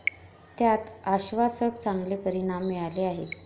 त्यात आश्वासक, चांगले परिणाम मिळाले आहेत.